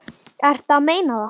Ertu að meina það?